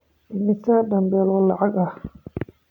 Immisa dambiil lacag ah?